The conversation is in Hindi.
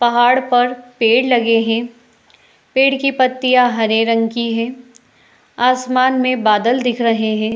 पहाड़ पर पेड़ लगे हैं। पेड़ की पत्तियां हरे रंग की हैं। आसमान में बादल दिख रहे हैं।